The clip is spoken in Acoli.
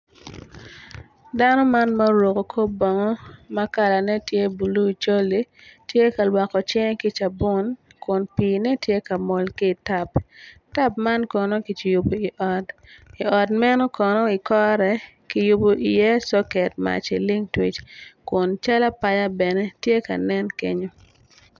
Dano man ma oruku kor bongo ma kalane tye bulu col-li tye ka lwokko cinge ki cabun kun piine tye ka mol ki itap tap man kono ki cibu i ot i ot meno kono i kore ki yubi iye coket mac ilingtwic kun cal apaya bene nen kenyo